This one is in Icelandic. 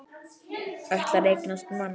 Ætlar að eignast mann.